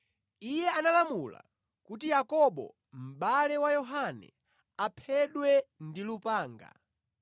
Iye analamula kuti Yakobo mʼbale wa Yohane, aphedwe ndi lupanga.